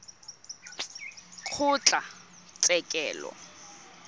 kgotlatshekelo